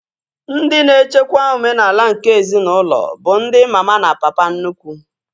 Ndị na-echekwa omenala nke ezinaụlọ bụ ndi mama na papa nnukwu